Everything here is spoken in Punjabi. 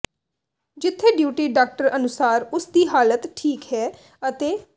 ਜਿੱਥੇ ਡਿਊਟੀ ਡਾਕਟਰ ਅਨੁਸਾਰ ਉਸ ਦੀ ਹਾਲਤ ਠੀਕ ਹੈ ਅਤੇ